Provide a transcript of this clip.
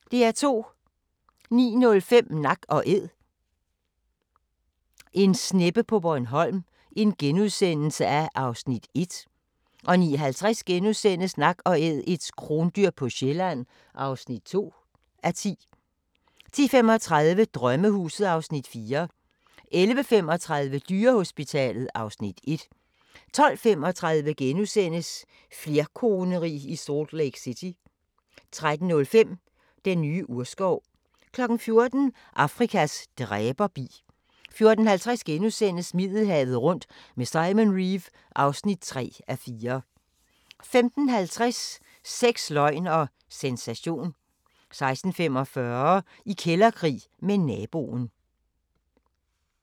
09:05: Nak & Æd – en sneppe på Bornholm (1:10)* 09:50: Nak & Æd – et krondyr på Sjælland (2:10)* 10:35: Drømmehuset (Afs. 4) 11:35: Dyrehospitalet (Afs. 1) 12:35: Flerkoneri i Salt Lake City * 13:05: Den nye urskov 14:00: Afrikas dræberbi 14:50: Middelhavet rundt med Simon Reeve (3:4)* 15:50: Sex, løgn og sensation 16:45: I kælderkrig med naboen